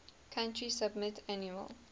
country submit annual